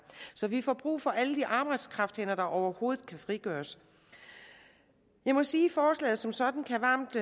så vi får brug for alle de arbejdskrafthænder der overhovedet kan frigøres jeg må sige at forslaget som sådan varmt